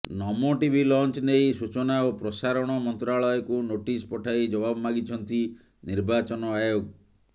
ନମୋ TV launch ନେଇ ସୂଚନା ଓ ପ୍ରସାରଣ ମନ୍ତ୍ରାଳୟକୁ ନୋଟିସ ପଠାଇ ଜବାବ ମାଗିଛନ୍ତି ନିର୍ବାଚନ ଆୟୋଗ